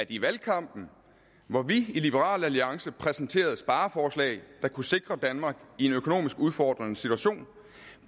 i valgkampen hvor vi i liberal alliance præsenterede spareforslag der kunne sikre danmark i en økonomisk udfordrende situation